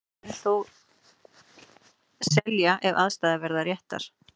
Félagið mun þó selja ef aðstæður verða réttar.